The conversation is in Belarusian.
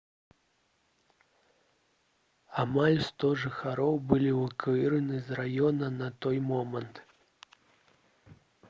амаль 100 жыхароў былі эвакуіраваны з раёна на той момант